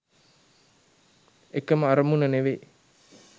එකම අරමුණ නෙවෙයි